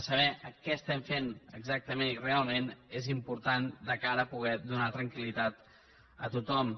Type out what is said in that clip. saber què estem fent exactament i realment és important de cara a poder donar tranquil·litat a tothom